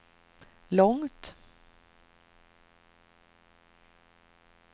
långt